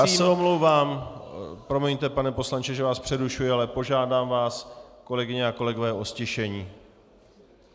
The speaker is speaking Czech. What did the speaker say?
Já se omlouvám, promiňte, pane poslanče, že vás přerušuji, ale požádám vás, kolegyně a kolegové, o ztišení.